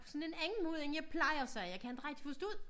På sådan en anden måde end jeg plejer sagde jeg kan ikke rigtig forstå det